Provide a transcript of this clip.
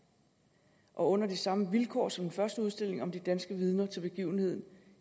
og under de samme vilkår som den første udstilling om de danske vidner til begivenheden